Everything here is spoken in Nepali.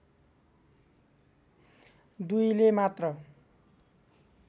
दुईले मात्र